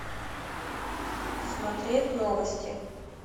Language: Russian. смотреть новости